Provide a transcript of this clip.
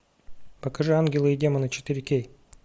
покажи ангелы и демоны четыре кей